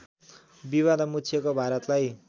विवादमा मुछिएको भारतलाई